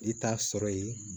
I t'a sɔrɔ ye